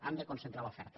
hem de concentrar l’oferta